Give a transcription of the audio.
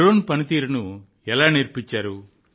drone పనితీరును ఎలా నేర్పించారు